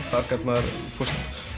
þar gat maður